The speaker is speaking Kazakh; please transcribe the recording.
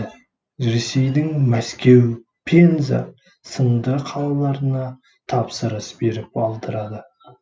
ресейдің мәскеу пенза сынды қалаларына тапсырыс беріп алдырады